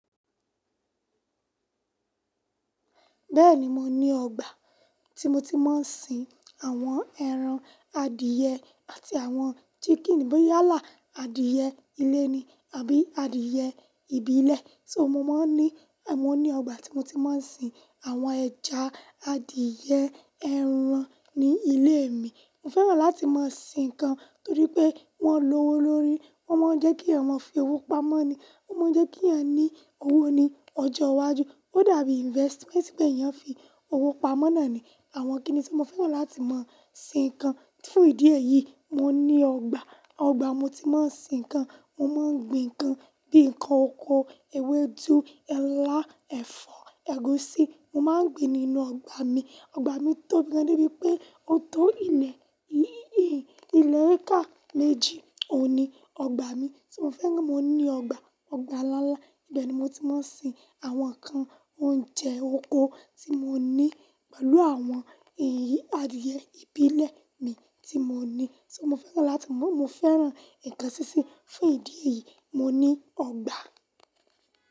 Bẹ́ẹ̀ni mo ní ọgbà tí mo ti máa ń sin àwọn ẹran adìẹ àti àwọn chicken, bóyá là adìẹ ilé ni àbí adìẹ ìbílẹ̀. So, mo máa ń ní, mo ní ọgbà tí mo ti máa ń sin àwọn ẹja, adìẹ, ẹran ní ilé mi. Mo fẹ́ràn láti máa sin ǹkan torí pé wọ́n lówó lórí, wọ́n máa ń jẹ́ kí ọmọ fi owó pamọ́ ni, wọ́n máa ń jẹ́ kí a ní owó ní ọjọ́ iwájú. Ó dàbí investment pé èèyàn fi owó pamọ́ nàní. Àwọn kíni tí mo fẹ́ràn láti máa sin ǹkan. Fún ìdí èyí, mo ní ọgbà. Ọgbà mo ti máa ń sin ǹkan, mo máa ń gbin ǹkan bíi ǹkan oko, ewédú, ẹ̀lá, ẹ̀fọ́, ẹ̀gúsí mo máa ń gbin nínú ọgbà mi. Ọgbà mi tóbi gán débíi wipé ó tó ilẹ̀, í- ìlẹ̀ eeká méjì. Óun ní ọgbà mi tí mo fẹ́ kí mo ní ọgbà, ọgbà ńlá ńlá. Bẹ́ẹ̀ni mo ti máa ń sin àwọn ǹkan oúnjẹ oko tí mo ní pẹ̀lú àwọn iyì adìẹ ìbílẹ̀ mi tí mo ní. So, mo fẹ́ràn láti máa, mo fẹ́ràn ǹkan sísín. Fún ìdí èyí, mo ní ọgbà.